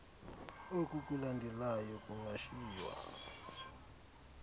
oku kulandelayo kungashiywa